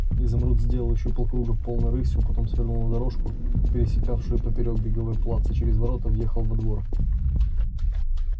изумруд сделал ещё полкруга полной рысью потом свернул на дорожку пересекавшую поперёк беговой плац и через ворота въехал во двор